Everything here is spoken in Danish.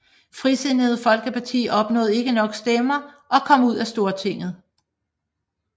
Frisindede Folkeparti opnåede ikke nok stemmer og kom ud af Stortinget